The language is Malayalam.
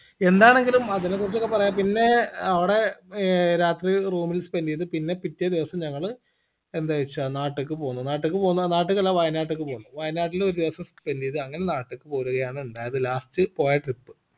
എന്താണെങ്കിലും അതിനെ കുറിച്ചൊക്കെ പറയാം പിന്നേ അവിടെ ഏർ രാത്രി room ൽ spend യ്ത് പിന്നെ പിറ്റേ ദിവസം ഞങ്ങള് എന്താ വെച്ച നാട്ടിക്ക് പോന്നു നാട്ടിക്ക് പോന്ന നാട്ടിക്കല്ല വായനാട്ടിക്ക് പോന്നു വയനാട്ടില് ഒരു ദിവസം spend എയ്തു അങ്ങനെ നാട്ടിക്ക് പോരുകയാണ് ഇണ്ടായത് last പോയ trip